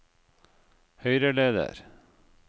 høyreleder